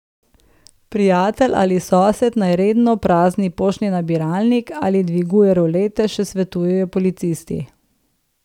Prijatelj ali sosed naj redno prazni poštni nabiralnik ali dviguje rolete, še svetujejo policisti.